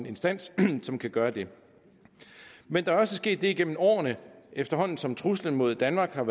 instans som kan gøre det men der er også sket det igennem årene at efterhånden som truslen mod danmark er